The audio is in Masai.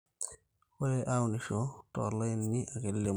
ore aunisho too laini ake lemu